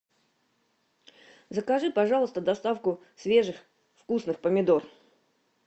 закажи пожалуйста доставку свежих вкусных помидор